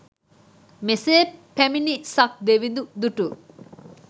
මෙසේ පැමිණි සක් දෙවිඳු දුටු